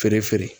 Feere feere